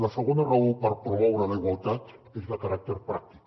la segona raó per promoure la igualtat és de caràcter pràctic